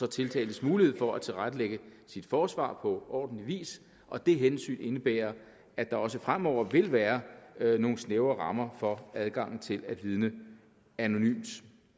tiltaltes mulighed for at tilrettelægge sit forsvar på ordentlig vis og det hensyn indebærer at der også fremover vil være nogle snævre rammer for adgangen til at vidne anonymt